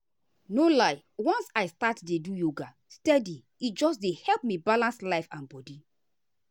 no lie once i start dey do yoga steady e just dey help me balance life and body.